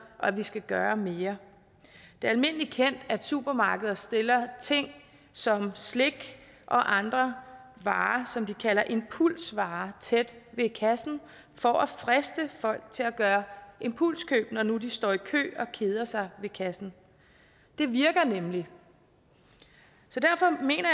og at vi skal gøre mere det er almindelig kendt at supermarkeder stiller ting som slik og andre varer som man kalder impulsvarer tæt ved kassen for at friste folk til at gøre impulskøb når nu de står i kø og keder sig ved kassen det virker nemlig så derfor mener